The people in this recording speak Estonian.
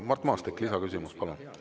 Mart Maastik, lisaküsimus, palun!